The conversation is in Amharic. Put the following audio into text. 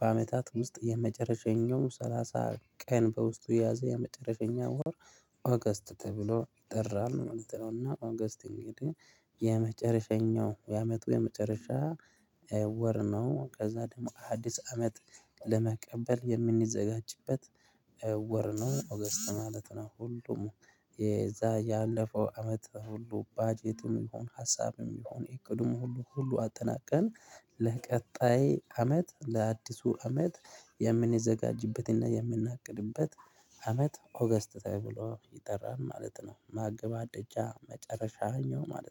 በአመታት ውስጥ የመጨረሿኛው ሰላሳ ቀን በውስጡ የያዘ የመጨረሸኛው ወር ኦገስት ተብሎ ይጠራል። እና ኦገስት እንግዳህ የመጨረሸኛው የአመቱ የመጨረሻ ወር ነው። ከዛ ደግሞ አዲስ አመት ለመቀበል የምንዘጋጅበት ወር ነው ኦገስት ማለት ነው። ሁሉም የዛ ያለፈው አመት ሁሉ ባጄትም ይሁን ሀሳብም ይሁን እቅዱም ሁሉ ሁሉ አጠናቀን ለቀጣይ አመት ለአዲሱ አመት የምንዘጋጅበትና የምናቅድበት አመት ኦገስት ተብሎ ይጠራል ማለት ነው። ማገባደጃ መጨረሻ ማለት ነው።